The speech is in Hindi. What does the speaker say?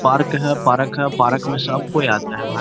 पार्क है। पार्क है। पार्क में सब कोई आता है भाई --